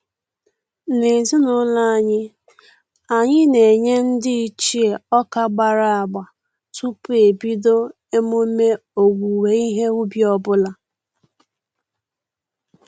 N'ezinụlọ anyị, anyị na-enye ndị ichie ọka agbara agba tupu ebido emume owuwe ihe ubi ọbụla